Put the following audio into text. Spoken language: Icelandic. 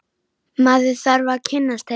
Maður þarf að kynnast henni!